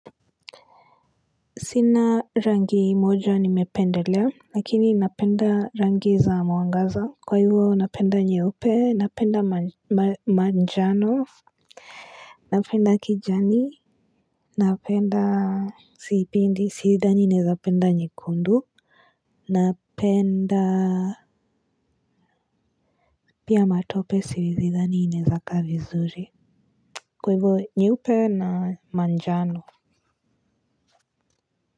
Sina rangi moja nimependelea lakini napenda rangi za mwangaza kwa hivyo napenda nyeupe napenda manjano napenda kijani napenda siipindi siidani naezapenda nyekundu napenda pia matope sidhani inaeza kaa vizuri kwa ivo nyeupe na manjano.